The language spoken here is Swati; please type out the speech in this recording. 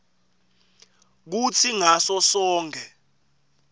kutsi ngaso sonkhe